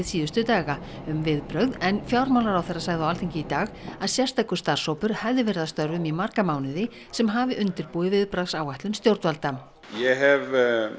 síðustu daga um viðbrögð en fjármálaráðherra sagði á Alþingi í dag að sérstakur starfshópur hefði verið að störfum í marga mánuði sem hafi undirbúið viðbragðsáætlun stjórnvalda ég hef